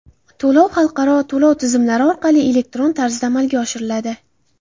To‘lov xalqaro to‘lov tizimlari orqali elektron tarzda amalga oshiriladi.